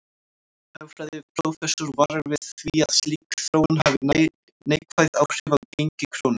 Hagfræðiprófessor varar við því að slík þróun hafi neikvæð áhrif á gengi krónu.